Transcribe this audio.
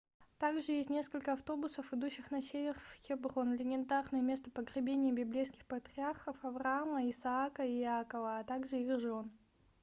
также есть несколько автобусов идущих на север в хеброн легендарное место погребения библейских патриархов авраама исаака и иакова а также их жен